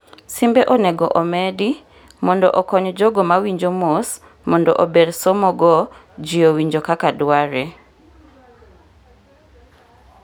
simbe onegi omedi mondo okony jogo mawinjo mos mondo ober somo go ji owinjo kaka dware